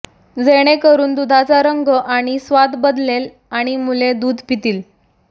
जेणेकरून दूधाचा रंग आणि स्वाद बदलेल आणि मुले दूध पितील